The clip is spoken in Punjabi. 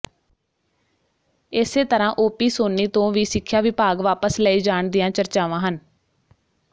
ਇਸੇ ਤਰ੍ਹਾਂ ਓਪੀ ਸੋਨੀ ਤੋਂ ਵੀ ਸਿੱਖਿਆ ਵਿਭਾਗ ਵਾਪਸ ਲਏ ਜਾਣ ਦੀਆਂ ਚਰਚਾਵਾਂ ਹਨ